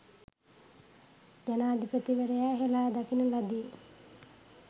ජනාධිපතිවරයා හෙලා දකින ලදි.